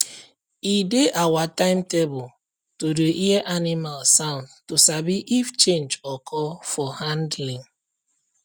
e dey our timetable to dey hear animal sound to sabi if change occur for handling